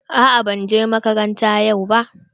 Aa ban je makaranta yau ba.